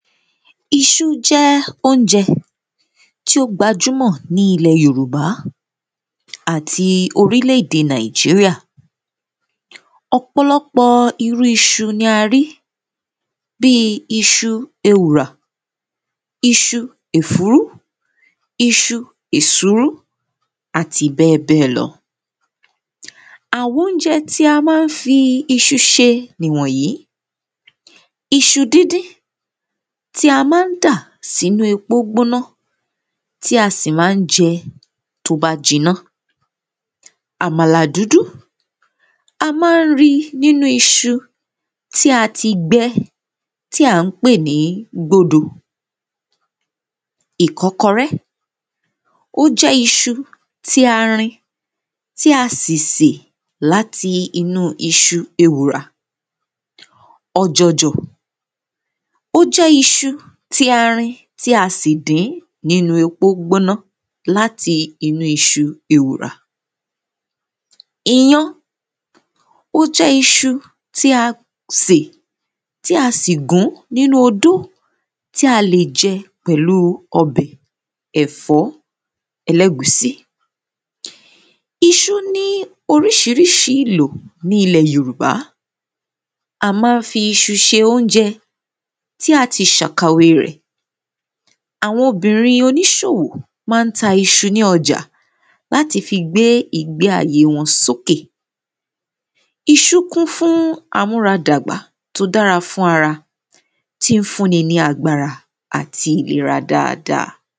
iṣú jẹ́ oúnjẹ tí ó gbajúmọ̀ ní ilẹ̀ yòrùbá àti orílẹ̀ èdè nàìjíríà ọ̀pọ̀lọpọ̀ irú iṣu ni a rí bíi iṣu ewùrà, iṣu ìfúrú, iṣu èsúrú àti bẹ́ẹ̀ bẹ́ẹ̀ lọ àwọn oúnjẹ tí a má ń fi iṣu ṣe nìwọ̀nyí iṣu díndín tí a máa ń dà sínú epo gbóná tí a sì máa ń jẹ tó bá jiná àmàlà dúdú, a máa ń ri nínú iṣu tí a ti gbẹ tí à ń pè ní gbódo ìkọ́kọrẹ́, ó jẹ́ iṣu tí a rin tí a sì sè láti inú iṣu ewùrà ọ̀jọ̀jọ̀, ó jẹ́ iṣu tí a rin tí a sì dín nínú epo gbóná láti inú iṣu ewùrà iyán, ó jẹ́ iṣu tí a sè tí a sì gùn nínú odó tí a lè jẹ pẹ̀lú ọbẹ̀ ẹ̀fọ́ ẹlẹ́ẹ̀gúnsí iṣu ní oríṣiríṣi ìlò ní ilẹ̀ yòrùbá a máa ń fi iṣu ṣe oúnjẹ tí a ti ṣàkàwe rẹ̀ àwọn obìnrin oníṣòwò máa ń ta iṣu ní ọjà láti fi gbé ìgbéàyé wọn sókè iṣú kún fún amúradàgbà tó dára fún ara tí ń fún ni ní agbára àti ìlera dáa dáa.